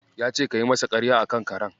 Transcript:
Ya ce kayi masa ƙarya a kan karen.